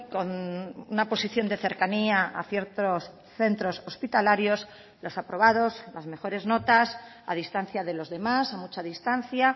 con una posición de cercanía a ciertos centros hospitalarios los aprobados las mejores notas a distancia de los demás a mucha distancia